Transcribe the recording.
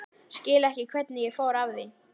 Skil ekki hvernig ég fór að því.